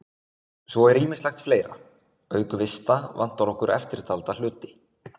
Svo er ýmislegt fleira: Auk vista vantar okkur eftirtalda hluti